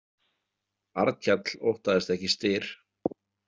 Arnkell óttaðist ekki Styr.